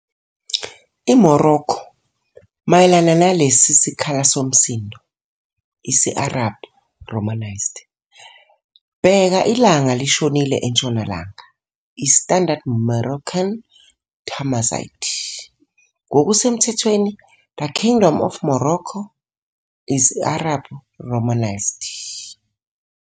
IMorokho, mayelana nalesi sikhala somsindo, isi-Arabhu, romanised. Bheka ilanga lishonile, entshonalanga', I-standard Moroccan Tamazight. Ngokusemthethweni, the Kingdom of Morocco. Isi-Arabhu, romanised.